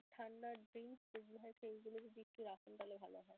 ঠাণ্ডার drinks হয় সেইগুলো যদি একটু রাখুন তাইলে ভালো হয়.